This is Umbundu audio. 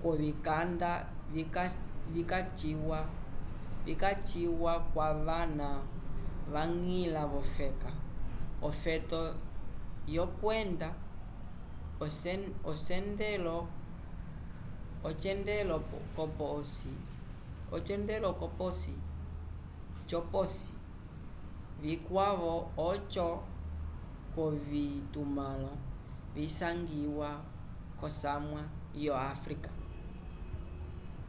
k'ovikanda vikaciwa kwavana vañgila v'ofeka ofeto lyokwenda ocendelo c'oposi vikwavo oco k'ovitumãlo visangiwa k'osamwa yo áfrica